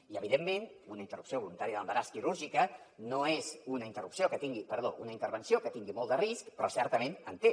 i evidentment una interrupció voluntària de l’embaràs quirúrgica no és una intervenció que tingui molt de risc però certament en té